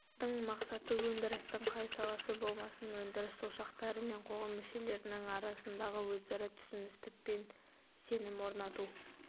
топтың мақсаты өндірістің қай саласы болмасын өндіріс ошақтары мен қоғам мүшелерінің арасындағы өзара түсіністік пен сенім орнату